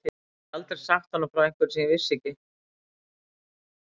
Ég gæti aldrei sagt honum frá einhverju sem ég ekki vissi.